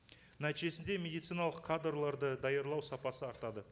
нәтижесінде медициналық кадрларды даярлау сапасы артады